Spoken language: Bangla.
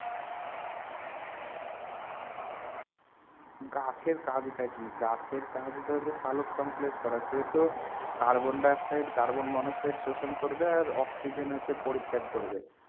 গাছের কাজটা কি গাছের কাজটা হচ্ছে সালোকসংশ্লেষ করা সে তো কার্বন ডাই-অক্সাইড কার্বন-মনোক্সাইড শোষণ করবে আর অক্সিজেন হচ্ছে পরিত্যাগ করবে।